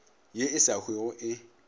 ye e sa hwego e